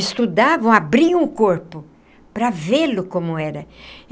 Estudavam, abriam o corpo para vê-lo como era.